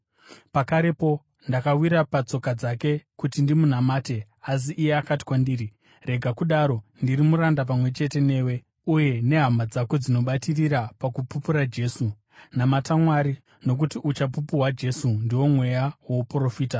Pakarepo ndakawira patsoka dzake kuti ndimunamate. Asi iye akati kwandiri, “Rega kudaro! Ndiri muranda pamwe chete newe uye nehama dzako dzinobatirira pakupupura Jesu. Namata Mwari! Nokuti uchapupu hwaJesu ndiwo mweya wouprofita.”